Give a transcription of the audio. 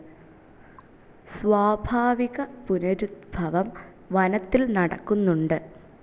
സ്വാഭാവിക പുനരുദ്ഭവം വനത്തിൽ നടക്കുന്നുണ്ട്.